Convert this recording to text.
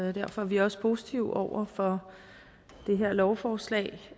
og derfor er vi også positive over for det her lovforslag